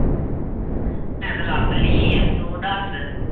ਮੈਂ ਤੇ ਲੱਭ ਲਈ ਏ ਤੂੰ ਦੱਸ।